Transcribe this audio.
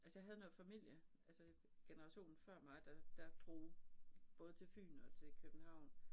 Altså jeg havde noget familie altså generationen før mig der der drog både til Fyn og til København